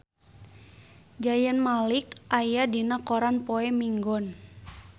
Zayn Malik aya dina koran poe Minggon